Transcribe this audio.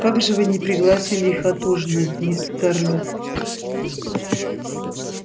как же вы не пригласили их отужинать мисс скарлетт